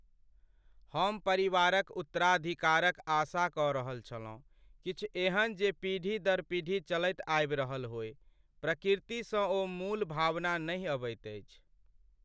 हम परिवारक उत्तराधिकारक आशा कऽ रहल छलहुँ, किछु एहन जे पीढ़ी दर पीढ़ी चलैत आबि रहल होय। प्रतिकृतिसँ ओ मूल भावना नहि अबैत अछि।